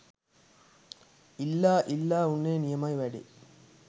ඉල්ලා ඉල්ලා උන්නේ නියමයි වැඩේ